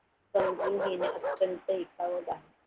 समजून घेणे अत्यंत